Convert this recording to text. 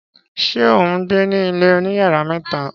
Ṣé ó ń gbé ní ilé oníyàrá mẹ́ta?